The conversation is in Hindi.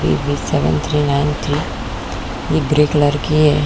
सेवन थ्री नाइन थ्री ये ग्रे कलर की हैं।